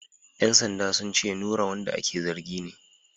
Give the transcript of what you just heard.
‘Yan sandan sun ce Nura wanda ake zargi ne.